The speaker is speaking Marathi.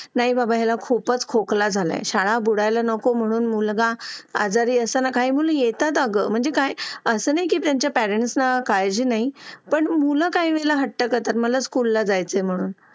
लेट होतं सर्दी खोकला हा एक वाढलं आहे. एका मुलाला क्लास पूर्ण क्लास त्याच्यामध्ये वाहून निघत निघत असतो असं म्हणायला हरकत नाही. हो डेंग्यू, मलेरिया यासारखे आजार पण ना म्हणजे लसीकरण आहे. पूर्ण केले तर मला नाही वाटत आहे रोप असू शकतेपुडी लसीकरणाबाबत थोडं पालकांनी लक्ष दिलं पाहिजे की आपला मुलगा या वयात आलेला आहे. आता त्याच्या कोणत्या लसी राहिलेले आहेत का?